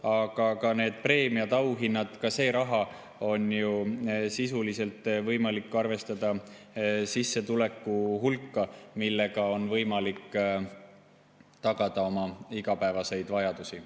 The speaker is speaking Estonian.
Aga ka need preemiad, auhinnad – ka see raha on ju sisuliselt võimalik arvestada sissetuleku hulka, millega on võimalik rahuldada oma igapäevaseid vajadusi.